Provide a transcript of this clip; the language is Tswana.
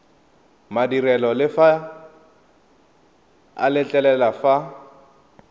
madirelo le a letlelela fa